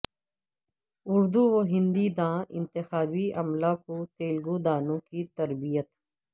اردو و ہندی داں انتخابی عملہ کو تلگو دانوں کی تربیت